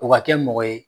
O ka kɛ mɔgɔ ye